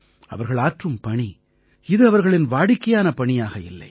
அவர்கள் ஆற்றும் பணி இது அவர்களின் வாடிக்கையான பணியாக இல்லை